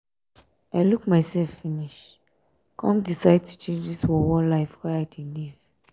i look mysef finish um come decide to change dis worwor life wey i um dey live.